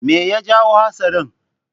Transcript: Me ya jawo hatsarin?